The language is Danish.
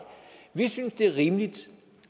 vi synes det er rimeligt